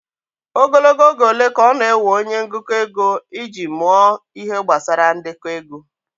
Ogologo oge ole ka ọ na-ewe onye ngụkọ ego iji mụọ Ihe gbasara ndekọ ego?